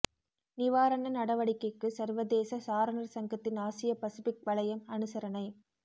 நிவாரண நடவடிக்கைக்கு சர்வதேச சாரணர் சங்கத்தின் ஆசிய பசுபிக் வலயம் அனுசரணை